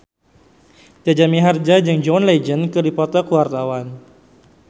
Jaja Mihardja jeung John Legend keur dipoto ku wartawan